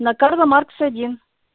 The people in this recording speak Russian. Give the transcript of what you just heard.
на карла маркса один